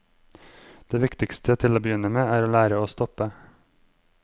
Det viktigste til å begynne med, er å lære å stoppe.